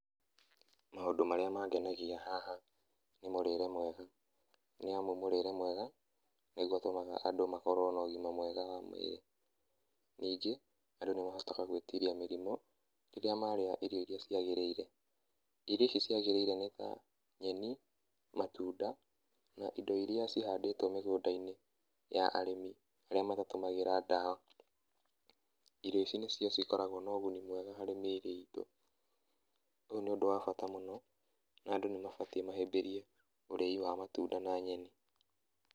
Maũndũ marĩa mangenagia haha, nĩ mũrĩre mwega, nĩ amu mũrĩre mwega, nĩguo ũtũmaga andũ makorwo na ũgima mwega wa mwĩrĩ. Ningĩ andũ nĩ mahotaga gwĩtiria mĩrimũ rĩrĩa marĩa irio iria ciagĩrĩire, irio icio ciagĩrĩire nĩta, nyeni, matunda, na indo iria cihandĩtwo mĩgũnda-inĩ ya arĩmi arĩa matatũmagĩra ndawa. Irio ici nĩcio cikoragwo na ũguni mwega harĩ mĩrĩ itũ. Ũyũ nĩ ũndũ wa bata mũno, na andũ nĩ mabatiĩ mahĩbĩrie ũrĩi wa matunda na nyeni.